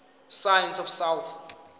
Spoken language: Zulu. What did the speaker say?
science of south